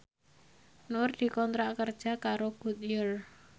Nur dikontrak kerja karo Goodyear